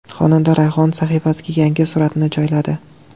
Xonanda Rayhon sahifasiga yangi suratini joyladi.